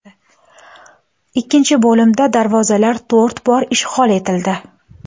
Ikkinchi bo‘limda darvozalar to‘rt bor ishg‘ol etildi.